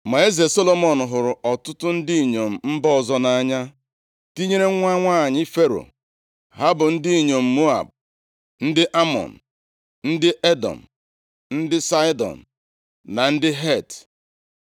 Ma eze Solomọn hụrụ ọtụtụ ndị inyom mba ọzọ nʼanya, tinyere nwa nwanyị Fero, ha bụ ndị inyom ndị Moab, ndị Amọn, ndị Edọm, ndị Saịdọn na ndị Het.